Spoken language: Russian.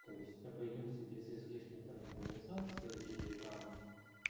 то есть обойдёмся без излишней там демонизации или там